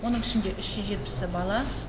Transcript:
оның ішінде үш жүз жетпісі бала